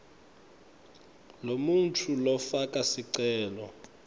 lomuntfu lofaka sicelo